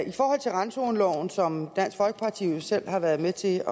i forhold til randzoneloven som dansk folkeparti jo selv har været med til